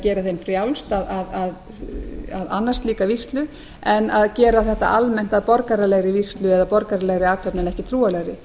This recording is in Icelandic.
eða gera þeim frjálst að annast slíka vígslu en að gera þetta almennt að borgaralegri vígslu eða borgaralegri athöfn en ekki trúarlegri